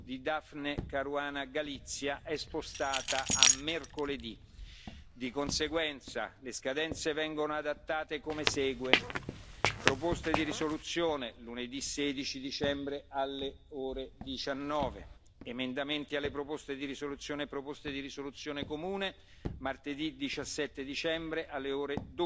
di Daphne Caruana Galizia è spostata a mercoledì. Di conseguenza, le scadenze vengono adattate come segue proposte di risoluzione lunedì 16 dicembre alle ore 19 emendamenti alle proposte di risoluzione e proposte di risoluzione comune martedì 17 dicembre alle ore